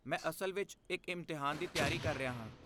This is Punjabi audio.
ਮੈਂ ਅਸਲ ਵਿੱਚ ਇੱਕ ਇਮਤਿਹਾਨ ਦੀ ਤਿਆਰੀ ਕਰ ਰਿਹਾ ਹਾਂ।